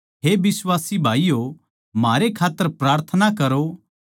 हे बिश्वासी भाईयो म्हारै खात्तर प्रार्थना करो